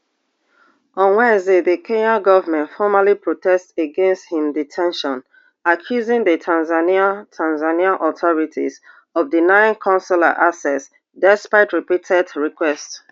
on wednesday di kenyan goment formally protest against im de ten tion accusing di tanzanian tanzanian authorities of denying consular access despite repeated requests